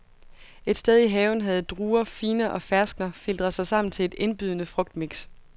Et sted i haven havde druer, figner og ferskner filtret sig sammen til et indbydende frugtmix.